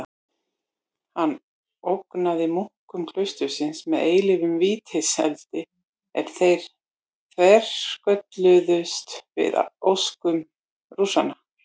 Hann ógnaði munkum klaustursins með eilífum vítiseldi ef þeir þverskölluðust við óskum Rússanna.